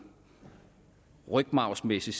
rygmarvsmæssigt